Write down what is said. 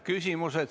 Küsimused.